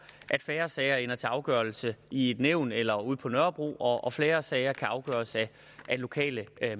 at færre sager ender til afgørelse i et nævn eller ude på nørrebro og og flere sager afgøres af lokale